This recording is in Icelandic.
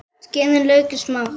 Skerið laukinn smátt.